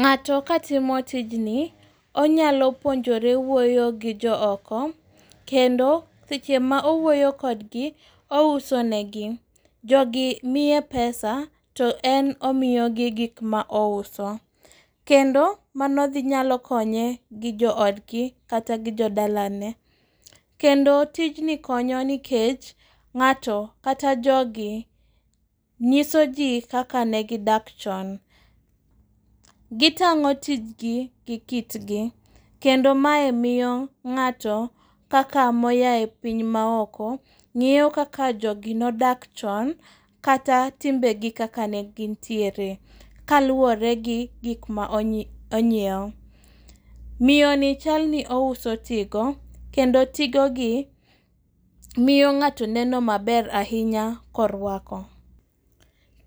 Ng'ato katimo tijni onyalo puonjore wuoyo gi jooko kendo seche ma owuoyo kodgi ousonegi. Jogi mie pesa to en omiyogi gikmaouso. Kendo mano nyalo konye gi joodgi kata gi jodalane. Kendo tijni konyo nikech ng'ato kata jogi nyiso jii kaka negidak chon. Gitang'o tijgi gi kitgi. Kendo mae miyo ng'ato kaka moyae piny maoko ng'eyo kaka jogi nodak chon kata timbegi kaka negintiere kaluore gi gik ma onyieo. Miyoni chalni ouso tigo, kendo tigogi miyo ng'ato neno maber ainya korwako.